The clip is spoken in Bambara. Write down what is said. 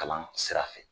Kalan sira fɛ